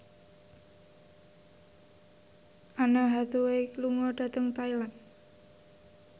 Anne Hathaway lunga dhateng Thailand